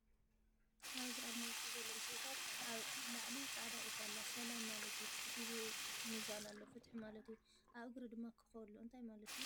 ኣብዝ ኣርማ ውሽጣ ዘሎ ምስልታት ኣብ ላዕሊ ፃዕዳ ዒፍ ኣላ ሰላም ማለት እዩ ትሕት ኢሉ ሚዛን ኣሎ ፍትሒ ማለት 'ዩ ፡ ኣብ እግሪ ድማ ኮኾብ ኣሎ እንታይ ማለት' ዩ ?